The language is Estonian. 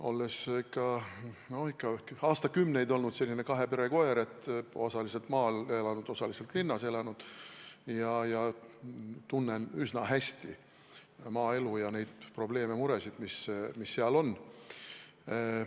Olles aastakümneid olnud selline kahe pere koer – osaliselt maal elanud, osaliselt linnas elanud –, tunnen ma üsna hästi maaelu ja tean probleeme-muresid, mis seal on.